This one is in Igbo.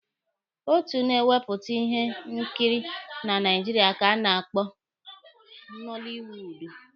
Otu na-ewepụta ihe nkiri na Naijiria ka a na-akpọ Nọlịwuudu.